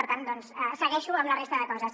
per tant segueixo amb la resta de coses